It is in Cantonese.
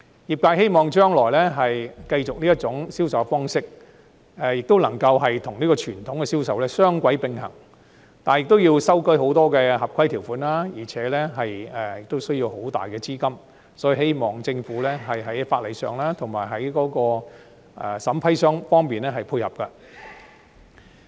業界希望將來繼續採用這種銷售方式，亦能夠與傳統的銷售雙軌並行，但亦要修改很多合規條款，而且需要龐大資金，所以我希望政府可以在法例上及審批方面配合。